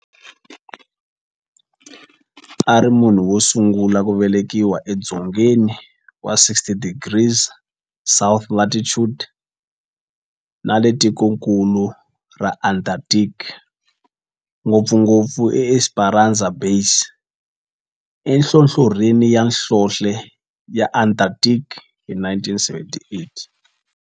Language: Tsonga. A ri munhu wosungula ku velekiwa e dzongeni wa 60 degrees south latitude nale ka tikonkulu ra Antarctic, ngopfungopfu eEsperanza Base enhlohlorhini ya nhlonhle ya Antarctic hi 1978.